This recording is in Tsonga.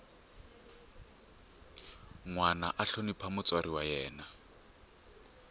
nwana a hlonipha mutswari wa yena